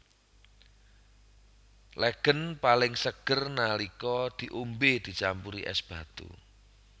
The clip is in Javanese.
Legèn paling seger nalika diombé dicampuri ès batu